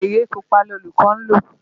Gègé pupa ni olùkọ́ ń lò.